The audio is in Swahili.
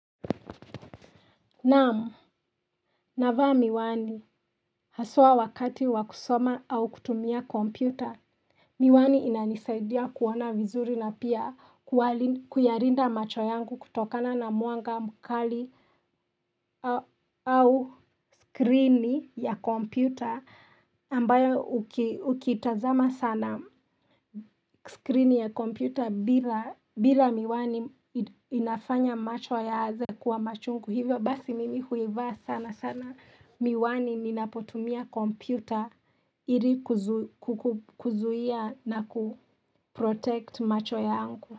Naam, navaa miwani haswa wakati wa kusoma au kutumia kompyuta, miwani inanisaidia kuona vizuri na pia kuyalinda macho yangu kutokana na mwanga mkali au screen ya kompyuta ambayo ukitazama sana screen ya kompyuta bila miwani inafanya macho yaaze kuwa machungu hivyo. Basi mimi huivaa sana sana miwani ninapotumia kompyuta ili kuzuia na kuprotect macho yangu.